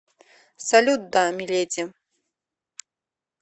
салют да миледи